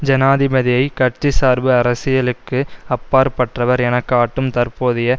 ஜனாதிபதியை கட்சிசார்பு அரசியலுக்கு அப்பாற்பட்டவர் என காட்டும் தற்போதைய